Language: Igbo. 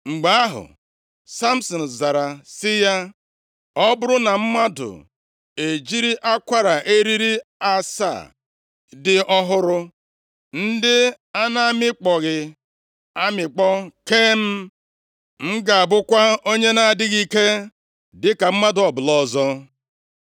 Mgbe ahụ, Samsin zara sị ya, “Ọ bụrụ na mmadụ e jiri akwara eriri asaa dị ọhụrụ, ndị a na-amịkpọghị amịkpọ kee m, m ga-abụkwa onye na-adịghị ike dịka mmadụ ọbụla ọzọ.”